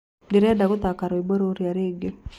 Ndĩrenda gũthaka rwĩmbo rũrĩa rĩngĩ